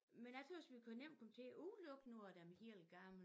Men jeg tøgges vi kan nemt komme til at udelukke nogen af de helt gamle